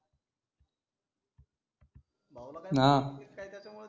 काही त्याच्या मूळे